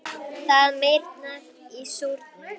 Það meyrnar í súrnum.